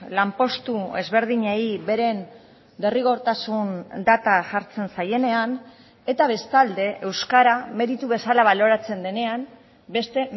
lanpostu ezberdinei beren derrigortasun data jartzen zaienean eta bestalde euskara meritu bezala baloratzen denean beste